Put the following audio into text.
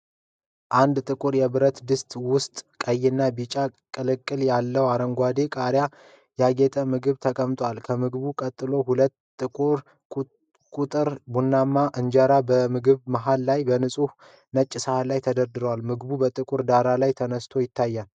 አንድ ጥቁር የብረት ድስት ውስጥ ቀይና ቢጫ ቅልቅል ያለው፣ በአረንጓዴ ቃሪያ ያጌጠ ምግብ ተቀምጧል። ከምግቡ ቀጥሎ ሁለት ቁርጥ ቡናማ እንጀራዎች በምግቡ መሃል ላይ በንጹህ ነጭ ሳህን ላይ ተደርድረዋል። ምግቡ በጥቁር ዳራ ላይ ተነስቶ ይታያል።